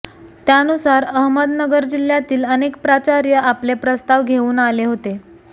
त्यानुसार अहमदनगर जिल्ह्यातील अनेक प्राचार्य आपले प्रस्ताव घेऊन आले होते